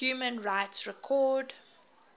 human rights record